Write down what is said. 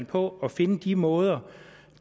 på at finde de måder